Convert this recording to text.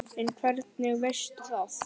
En hvernig veistu það?